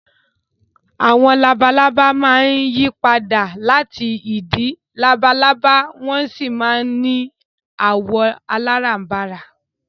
Àwọn labalábá máa ń yí padà láti ìdin labalábá wọ́n sì máa ń ní àwọ̀ aláràǹbarà